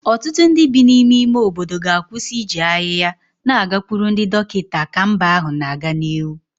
Ọtụtụ ndị bi n'ime ime obodo ga-akwụsị iji ahịhịa na-agakwuru ndị dọkịta ka mba ahụ na-aga n'ihu